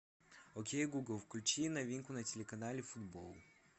окей гугл включи новинку на телеканале футбол